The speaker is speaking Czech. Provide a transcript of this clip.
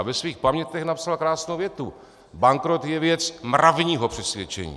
A ve svých pamětech napsal krásnou větu: Bankrot je věc mravního přesvědčení.